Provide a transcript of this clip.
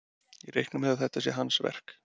Ég reikna með að þetta sé hans verk.